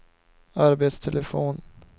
arbetstelefon